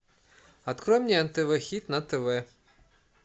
открой мне нтв хит на тв